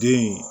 Den